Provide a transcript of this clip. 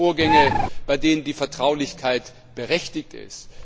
Es gibt auch Vorgänge, bei denen die Vertraulichkeit berechtigt ist.